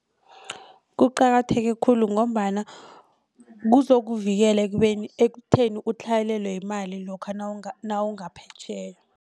Kuqakatheke khulu ngombana kuzokuvikela ekubeni ekutheni utlhayelelwe yimali lokha nawungaphetjheya.